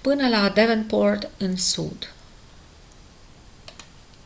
până la devonport în sud